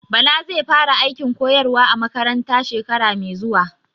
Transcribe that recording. Bala zai fara aikin koyarwa a makaranta shekara mai zuwa